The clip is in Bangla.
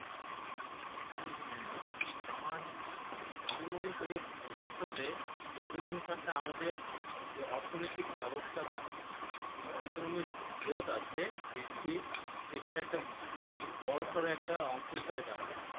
আমার আনমনে করে ভবিষ্যতেপর্যটন খাতে আমাদের যে অর্থনৈতিক ব্যবস্থা বা economy growth আছে বৃদ্ধির, সেইটার একটা খুব বড়সড় একটা অংশ হিসাবে দাঁড়াবো।